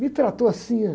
Me tratou assim, né?